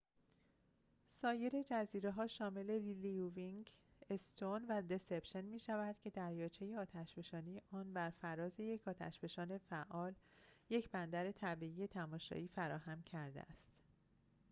سایر جزیره‌ها شامل لیوینگ‌استون و دسِپشن می‌شود که دریاچه آتشفشانی آن بر فراز یک آتش‌فشان فعال یک بندر طبیعی تماشایی فراهم کرده است